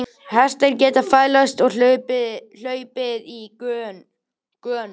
Hestar geta fælst og hlaupið í gönur.